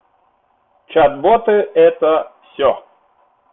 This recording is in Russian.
чат боты это всё